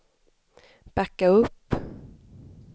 backa upp